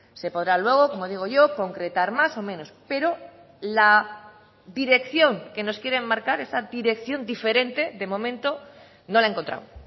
se podrá luego como digo yo concretar más o menos pero la dirección que nos quieren marcar esa dirección diferente de momento no la he encontrado